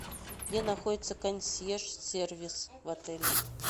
где находится консьерж сервис в отеле